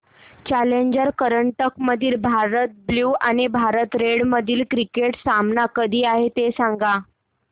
challenger करंडक मधील Bharat blue आणि भारत रेड मधील क्रिकेट सामना कधी आहे ते सांगा